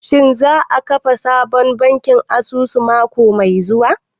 Shin za a kafa sabon bankin kasuwa mako mai zuwa?